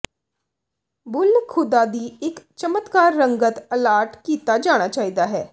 ਬੁੱਲ੍ਹ ਖ਼ੁਦਾ ਦੀ ਇੱਕ ਚਮਕਦਾਰ ਰੰਗਤ ਅਲਾਟ ਕੀਤਾ ਜਾਣਾ ਚਾਹੀਦਾ ਹੈ